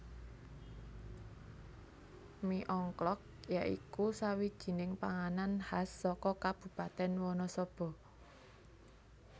Mi Ongklok ya iku sawijining panganan khas saka Kabupatèn Wanasaba